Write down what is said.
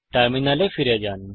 টার্মিনালে ফিরে যান